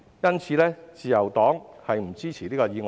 因此，自由黨不支持議案。